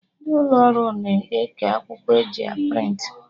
Ndị ụlọ ọrụ na-eke akwụkwọ eji a prịntị